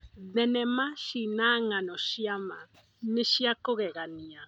Thenema cina ng'ano cia ma nĩ cia kũgegania.